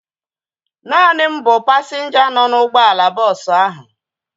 Naani m bụ pasinja nọ n'ụgbọala bọọsu ahu